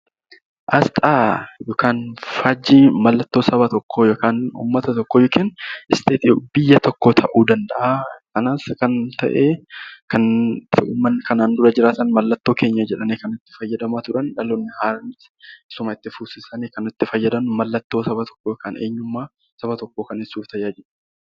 Asxaan yookaan faajjiin mallattoo Saba tokkoo yookiin biyya tokkoo ta'uu danda'a. Kan kanaan dura jiraatan mallattoo keenya jedhanii kan itti fayyadamaa turan dhaloonni haaraanis isuma itti fufsiisanii kan fayyadaman mallattoo Saba tokkoo ibsuuf kan gargaarudha